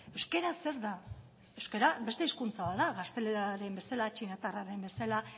euskara zer da euskara beste hizkuntza bat da gaztelera den bezala txinatarra den bezala